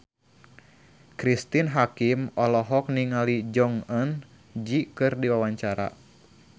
Cristine Hakim olohok ningali Jong Eun Ji keur diwawancara